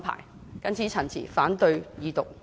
我謹此陳辭，反對二讀。